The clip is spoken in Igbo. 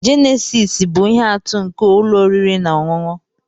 Jenesis bụ ihe atụ nke ụlọ oriri na ọṅụṅụ.